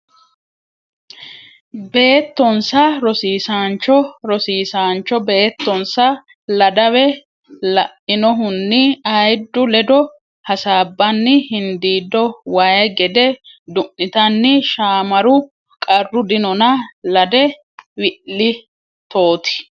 beettonsa Rosiisaancho Rosiisaancho beettonsa Ladawe lainohunni ayiddu ledo hasaabbanna hindiiddo way gede du nitanni Shaamaru Qarru dinona lade wi litooti !